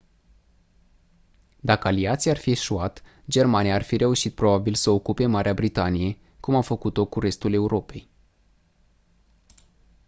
dacă aliații ar fi eșuat germania ar fi reușit probabil să ocupe marea britanie cum a făcut-o cu restul europei